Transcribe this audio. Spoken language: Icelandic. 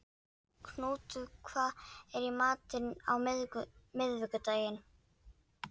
Knútur, hvað er í matinn á miðvikudaginn?